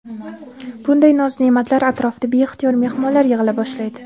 Bunday noz-ne’matlar atrofida beixtiyor mehmonlar yig‘ila boshlaydi.